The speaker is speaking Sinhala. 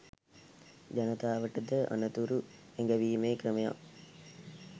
ජනතාවට ද අනතුරු ඇඟවීමේ ක්‍රමයක්